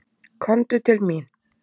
Komdu til mín.